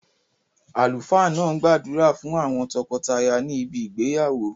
Àlùfáà náà n gbàdúrà fún àwon tokotaya ni ibi ìgbéyàwó